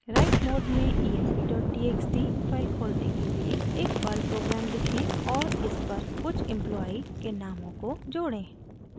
write mode में emptxt file खोलने के लिए एक पर्ल प्रोग्राम लिखें और इस पर कुछ एम्प्लॉई के नामों को जोड़ें